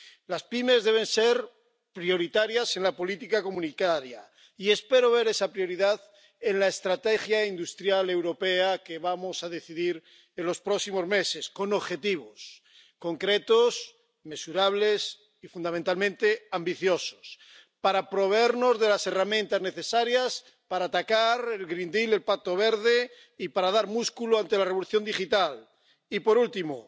Las pymes deben ser prioritarias en la política comunitaria y espero ver esa prioridad en la estrategia industrial europea que vamos a decidir en los próximos meses con objetivos concretos, mensurables y fundamentalmente ambiciosos para proveernos de las herramientas necesarias para atacar el Pacto Verde y para dar músculo ante la revolución digital. Y, por último,